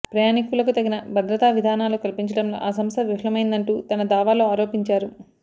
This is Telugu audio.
ప్రయాణీకులకు తగిన భద్రతా విధానాలు కల్పించడంలో ఆ సంస్ధ విఫమైందంటూ తన దావాలో ఆరోపించారు